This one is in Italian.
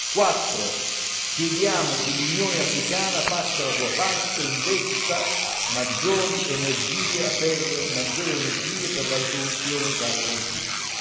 Quattro chiediamo che l'Unione africana faccia la sua parte e investa maggiori energie per la risoluzione di tale conflitto.